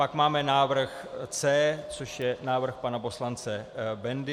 Pak máme návrh C, což je návrh pana poslance Bendy.